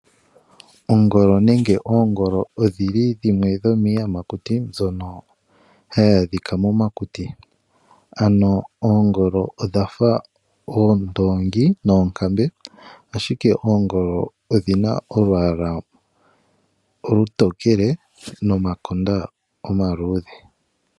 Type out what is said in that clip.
Ongolo nenge oongolo odhi li dhimwe dhomiiyakuti mbyono hayi adhika momakuti. Oongolo odha fa oondoongi noonkambe, ashike oongolo odhi na olwaala olutookele nomakonda omaluudhe.